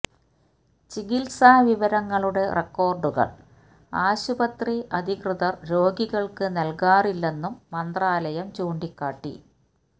ചികിത്സാ വിവരങ്ങളുടെ റെക്കോര്ഡുകള് ആശുപത്രി അധികൃതര് രോഗികള്ക്ക് നല്കാറില്ലെന്നും മന്ത്രാലയം ചൂണ്ടിക്കാട്ടി